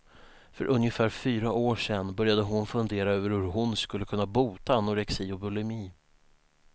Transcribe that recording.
För ungefär fyra år sedan började hon fundera över hur hon skulle kunna bota anorexi och bulimi.